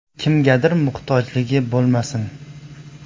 Kimgadir muhtojligi bo‘lmasin.